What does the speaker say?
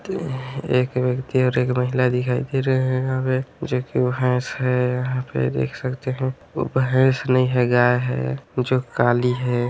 एक व्यक्ति और एक महिला दिखाई दे रहे हैं जो की भैंस है यहां पर देख सकते हैं वो भैस नहीं है गाये है जो काली है।